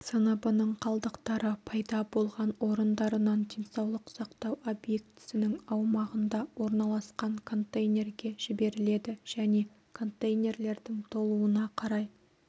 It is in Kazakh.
сыныбының қалдықтары пайда болған орындарынан денсаулық сақтау объектісінің аумағында орналасқан контейнерге жіберіледі және контейнерлердің толуына қарай